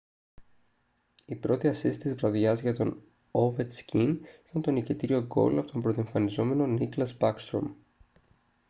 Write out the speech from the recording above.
η πρώτη ασίστ της βραδιάς για τον ovechkin ήταν το νικητήριο γκολ από τον πρωτοεμφανιζόμενο nicklas backstrom